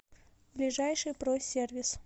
ближайший про сервис